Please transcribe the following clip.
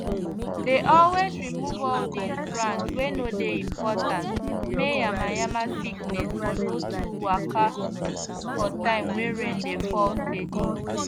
dey always remove all those branch wey no dey important may yanmayanma sickness for no too waka for time wey rain dey fall steady